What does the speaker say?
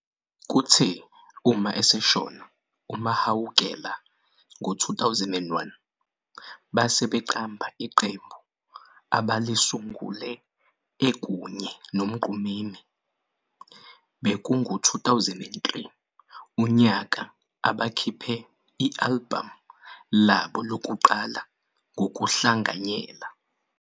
Kuthe uma eseshona uMahawukela ngo-2001 base beqamba iqembu abalisungule ekunye noMgqumeni, bekungu 2003 unyaka abakhiphe i-"album" labo lokuqala ngokuhlanganyela.